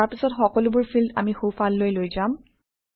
তাৰপিছত সকলোবোৰ ফিল্ড আমি সোঁফাললৈ লৈ যাম